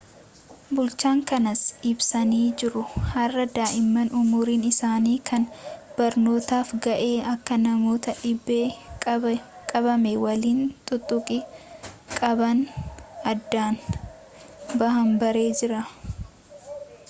bulchaan kanas ibsanii jiru har'a daa'imman umriin isaani kan barnootaaf ga'e akka nama dhibeen qabame waliin tuttuqqii qaban addaan bahan barree jirra